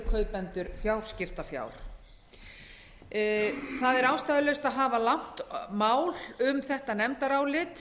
kaupendur fjárskiptafjár það er ástæðulaust að hafa langt mál um þetta nefndarálit